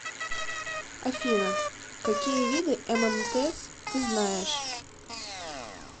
афина какие виды ммтс ты знаешь